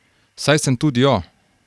Saj sem tudi jo.